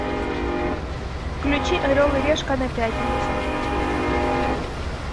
включи орел и решка на пятнице